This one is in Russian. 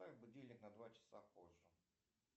поставь будильник на два часа позже